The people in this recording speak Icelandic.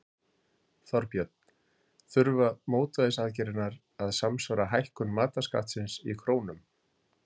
Þorbjörn: Þurfa mótvægisaðgerðirnar að samsvara hækkun matarskattsins í krónum?